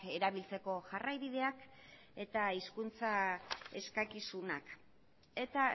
erabiltzeko jarraibideak eta hizkuntza eskakizunak eta